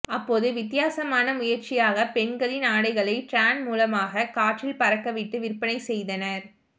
அப்போது வித்தியாசமான முயற்சியாக பெண்களின் ஆடைகளை டிரான் மூலமாக காற்றில் பறக்கவிட்டு விற்பனை செய்தனர்